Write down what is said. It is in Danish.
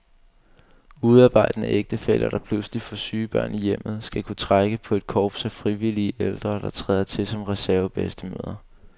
Udearbejdende ægtefæller, der pludselig får syge børn i hjemmet, skal kunne trække på et korps af frivillige ældre, der træder til som reservebedstemødre.